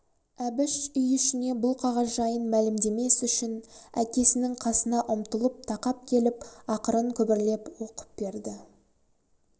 әбіш үй ішіне бұл қағаз жайын мәлімдемес үшін әкесінің қасына ұмтылып тақап келіп ақырын күбірлеп оқып берді